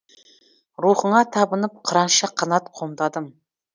рухыңа табынып қыранша қанат қомдадым